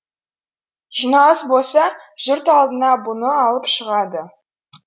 жиналыс болса жұрт алдына бұны алып шығады